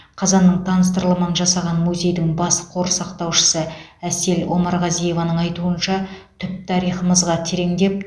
қазанның таныстырылымын жасаған музейдің бас қор сақтаушысы әсел омарғазиеваның айтуынша түп тарихымызға тереңдеп